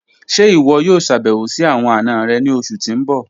Ṣẹ́ iwọ yọ̀o ṣàbẹ̀wò sí awọn ana rẹ̀ ni ọṣù tí n bọ̀?